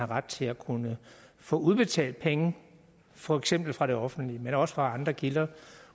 ret til at kunne få udbetalt penge for eksempel fra det offentlige men også fra andre kilder